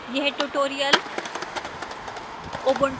यह tutorial